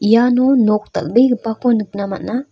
iano nok dal·begipako nikna man·a.